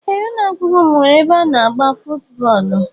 Ee ụlọakwụkwọ m nwere ebe ana agba footu bóólú.